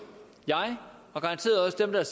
jeg og garanteret også dem der